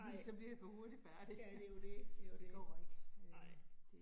Nej. Ja, det jo det det jo det. Nej